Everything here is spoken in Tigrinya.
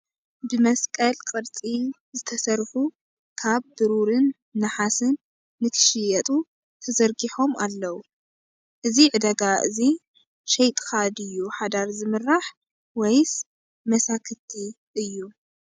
ብመስቀል ቅርፂ ዝተሰርሑ ካብ ብሩርን ናሓስ ንክሽየጡ ተዘርሖም ኣለው:: እዚ ዕዳጋ እዙይ ሸይጥካ ድዩ ሓዳር ዝምራሕ ወይስ መሳክቲ እዩ ?